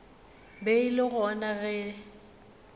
be e le gona ge